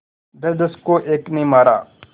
दसदस को एक ने मारा